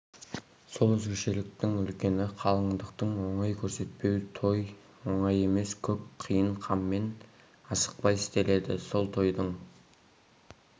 сол өзгешеліктің үлкені қалыңдықты оңай көрсетпеу той оңай емес көп қиын қаммен асықпай істеледі сол тойдың